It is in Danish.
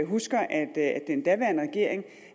husker at den daværende regering